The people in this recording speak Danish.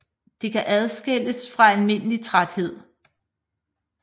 Det kan adskilles fra almindelig træthed